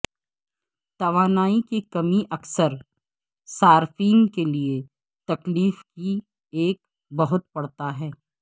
توانائی کی کمی اکثر صارفین کے لئے تکلیف کی ایک بہت پڑتا ہے